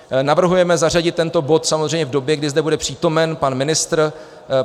Navrhujeme zařadit tento bod samozřejmě v době, kdy zde bude přítomen pan ministr.